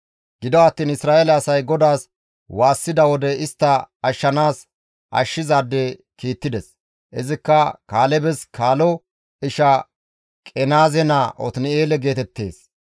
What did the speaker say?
Gido attiin Isra7eele asay GODAAS waassida wode GODAY istta ashshanaas ashshizaade kiittides; izikka Kaalebes kaalo isha Qenaaze naa Otin7eele geetettees.